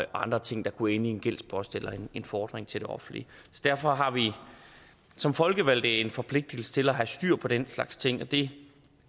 andre ting der kunne ende i en gældspost eller en fordring til det offentlige derfor har vi som folkevalgte en forpligtelse til at have styr på den slags ting det